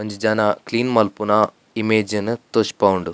ಒಂಜಿ ಜನ ಕ್ಲೀನ್ ಮನ್ಪುನ ಇಮೇಜ್ ನು ತೋಜ್ಪಾವುಂಡು.